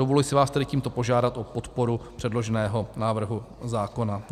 Dovoluji si vás tedy tímto požádat o podporu předloženého návrhu zákona.